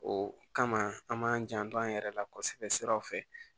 O kama an b'an janto an yɛrɛ la kosɛbɛ siraw fɛ